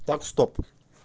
так стоп